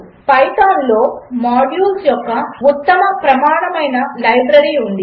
Python లో modules యొక్క ఉత్తమ ప్రమాణమైన లైబ్రరీ ఉంది